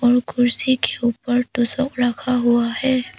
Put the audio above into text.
वो कुर्सी के ऊपर तोशक रखा हुआ है।